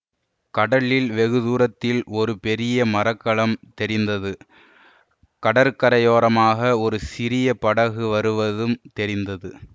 கடலில் வெகு தூரத்தில் ஒரு பெரிய மர கலம் தெரிந்தது கடற்கரையோரமாக ஒரு சிறிய படகு வருவதும் தெரிந்தது